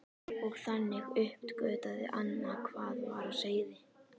Og þannig uppgötvaði Anna hvað var á seyði.